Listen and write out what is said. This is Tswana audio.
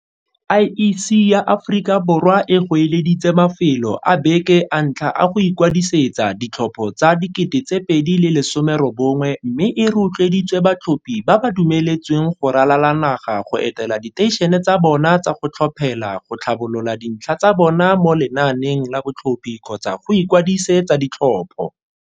IEC ya Aforika Borwa e goeleditse mafelo a beke a ntlha a go ikwadisetsa ditlhopho tsa 2019 mme e ro tloeditse batlhophi ba ba dumeletsweng go ralala naga go etela diteišene tsa bona tsa go tlhophela go tlhabolola dintlha tsa bona mo lenaaneng la ba tlhophi kgotsa go ikwadise tsa ditlhopho.